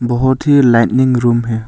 बहुत ही living room है।